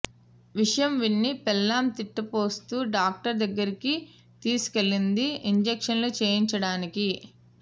విషయం విని పెళ్ళాం తిట్టిపోస్తూ డాక్టరు దగ్గరికి తీసుకెళ్ళింది ఇంజెక్షన్లు చేయించడానికి